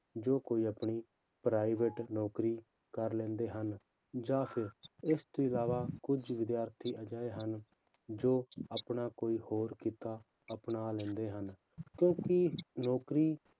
ਜੋ ਕੋਈ ਆਪਣੀ private ਨੌਕਰੀ ਕਰ ਲੈਂਦੇ ਹਨ, ਜਾਂ ਫਿਰ ਇਸ ਤੋਂ ਇਲਾਵਾ ਕੁੱਝ ਵਿਦਿਆਰਥੀ ਅਜਿਹੇ ਹਨ, ਜੋ ਆਪਣਾ ਕੋਈ ਹੋਰ ਕਿੱਤਾ ਅਪਣਾ ਲੈਂਦੇ ਹਨ ਕਿਉਂਕਿ ਨੌਕਰੀ